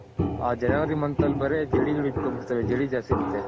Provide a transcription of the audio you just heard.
ಆ January month ಅಲ್ಲಿ ಬೇರೆ ಜಡಿಗಳ್ ಇಡ್ಕೊನ್ ಬಿಡ್ತವೆ ಜಡಿಗಳ್ ಜಾಸ್ತಿ ಇರುತ್ತೆ.